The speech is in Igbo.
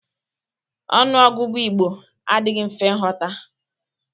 Ọnụ ọgụgụ Igbo adịghị mfe ịghọta.